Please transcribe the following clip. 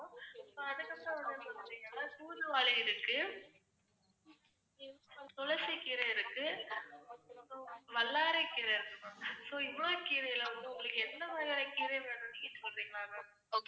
தூதுவளை இருக்கு, துளசி கீரை இருக்கு, வல்லாரைக் கீரை இருக்கு ma'am. so இவ்ளோ கீரைல வந்து உங்களுக்கு எந்த மாதிரியான கீரை வேணும்னு நீங்க சொல்றீங்களா ma'am